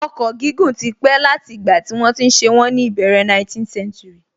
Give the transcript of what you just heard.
Ọkọ̀ gígùn tí pé láti ìgbà tí wọ́n ti ṣe wọ́n ní ìbẹ̀rẹ̀ 19th century